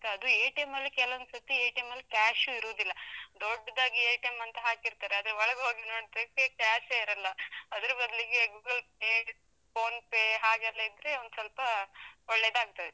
ಅದು ಅಲ್ಲಿ ಕೆಲವೊಂದ್ ಸರ್ತಿ, ಅಲ್ಲಿ cash ಇರುದಿಲ್ಲ, ದೊಡ್ಡದಾಗಿ ಅಂತ ಹಾಕಿರ್ತಾರೆ, ಅದೇ ಒಳಗ್ ಹೋಗಿ ನೋಡಿದ್ರೆ cash ಇರಲ್ಲ, ಅದ್ರ ಬದಲಿಗೆ Google Pay, PhonePe ಹಾಗೆಲ್ಲ ಇದ್ರೆ ಒಂದ್ಸೊಲ್ಪ ಒಳ್ಳೆದಾಗ್ತದೆ.